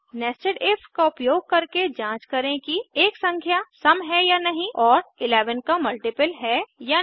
00816023 000828 nested if का उपयोग करके जांच करें कि एक संख्या सम है या नहीं और 11 का मल्टीपल है या नहीं